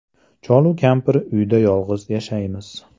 Cholu kampir uyda yolg‘iz yashaymiz.